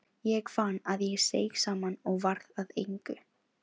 Ég fann að ég seig saman og varð að engu.